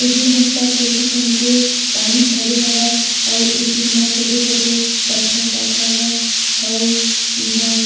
ए तीर हम सब देखत हन के पानी भरे हवय अऊ ए तीर म छोटे-छोटे पत्थर तक हवय अऊ इहाँ--